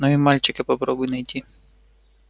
но и мальчика попробуй найти